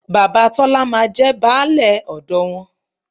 Bàbá Tọ́lá máa jẹ baálẹ̀ ọ̀dọ wọn